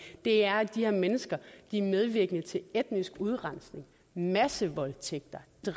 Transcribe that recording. er at de her mennesker er medvirkende til etnisk udrensning massevoldtægter